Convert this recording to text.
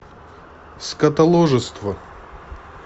скотоложество